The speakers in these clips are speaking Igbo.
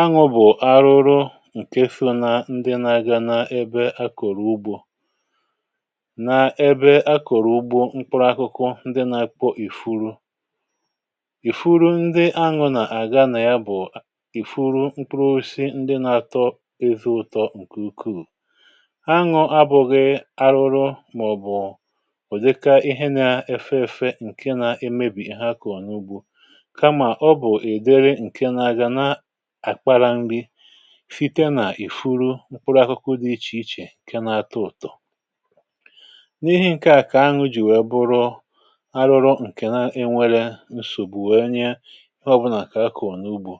Aṅụ bụ̀ àrụrụ ǹkè so na ndi nà-aga na ebe akọ̀rọ̀ ugbȯ na ebe akọ̀rọ̀ ugbȯ mkpụrụ akụkụ ndi nà-akpọ ìfuru. Ifuru ndi aṅụ nà-àga nà ya bụ̀ a ìfuru mkpuru osi ndi nà-atọ ezi ụ̀tọ ǹkè ukwuù. Aṅụ abụ̀ghị̀ arụrụ mà-ọ̀bụ̀ ụ̀dịka ihe nà-efe èfe ǹke na-emebì ha kọ̀ọ n’ugbȯ kama ọbụ ịdịrị nke na-aga na akpara nri fìte nà ìfuru mkpụrụ akụkụ dị ichè ichè nke n’atọ ụ̀tọ̀. N’ihi ǹke à kà aṅụ jì wèe bụrụ arụrụ ǹkè na-enwėrė nsògbu wèe nye ọbụlà kà a kọ̀ọ̀ n’ugbȯ.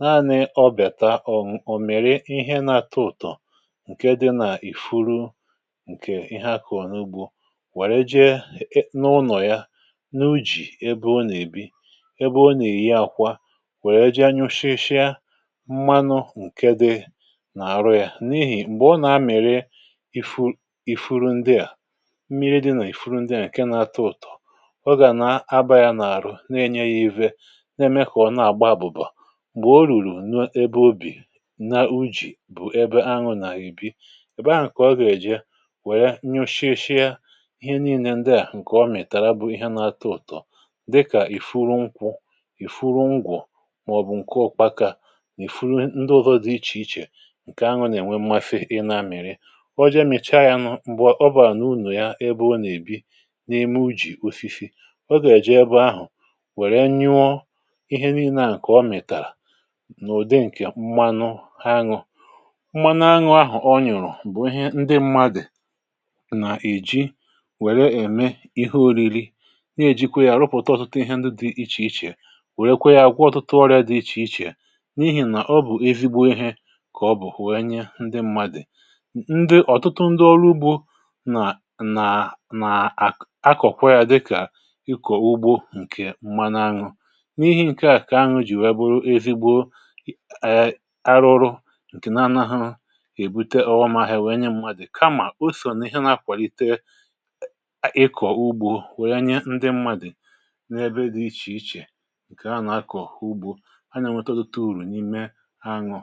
Naanị̇ ọbịàta ọ ọ mịrị ihe na-atọ ụ̀tọ̀ ǹke dị na ìfuru ǹkè ihe a kọ̀ọ̀ n’ugbȯ wère jee e e n’ụnọ̀ yȧ n’u̇jì ebe ọ nà-èbi ebe ọ nà-èyi akwa wee jee nyụshịshịa mmanụ ǹke dị n’àrụ̀ ya n’ihì m̀gbè ọ nà-amị̀rị ịfu ifuru, ndịà mmiri dị nà ifuru ndịà ǹke n’ata ụ̀tọ̀, ọ gà nà-aba ya n’àrụ n’ènye ya ihe na-ème kà ọ̀ na-àgba àbụ̀bà. Mgbe orùrù na ebe obì nȧ ujì bụ̀ ebe aṅụ nà-èbi, èbe ahụ̀ kà ọ gà-èje wèe nyụshịshịa ihe nii̇nė ndị à ǹkè ọ mìtàrà bụ ihe n’ata ụ̀tọ̀ dịkà ìfuru nkwu̇, ifuru ngwọ ma-ọbụ nke ụkpaka n’ifuru ndị ọzọ̇ dị ichè ichè ǹkè aṅụ nà-ènwe mmasị ị na mịrị. Oje mịchaa ya nụ̇ m̀gbè ọbara nà uno ya ebe o nà-èbi n’ime ujì osisi ogà-èje ebe ahụ̀ wèrè nyụọ ihe niile à ǹkè ọ mìtàrà nà ụdị ǹkè mmanụ aṅụ. Mmanụ aṅụ ahụ ọ nyụ̀rụ̀ bụ̀ ihe ndị mmadụ̀ nà-èji wèrè ème ihe ȯri̇ri̇ nà-èjikwe ya rụpụ̀ta ọtụtụ ihe ndị dị̇ ichè ichè, wèrèekwe ya gwụọ ọtụtụ ọrịȧ dị ichè ichè n’ihi na ọbụ̀ ezigbo ihe ka ọbụ̀ wee nye ndị mmadụ̀. N ndị ọ̀tụtụ ndị olu ugbȯ nà nà nà-àkọ akọ̀kwa yȧ dịkà ịkọ̀ ugbȯ ǹkè mmana ȧnụ̇. N’ihi ǹkè a kà aṅụ jì wee bụrụ ezigbo I ee arụrụ ǹkè na anahụ èbute ọghọm ahịa wee nye mmadụ̀ kamà o so n’ihe na-akwàlite ị ịkọ̀ ugbȯ wee nye ndị mmadụ̀ n’ebe dị ichè ichè ǹkè a na akọ̀ ugbȯ. A n’enwete ọ̀tụtụ uru n’ime aṅụ